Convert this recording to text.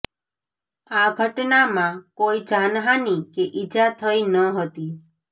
આ ઘટનામાં કોઈ જાનહાનિ કે ઈજા થઈ ન હતી